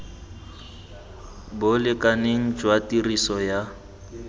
bo lekaneng jwa tiriso ya